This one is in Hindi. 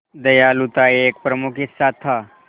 दयालुता एक प्रमुख हिस्सा था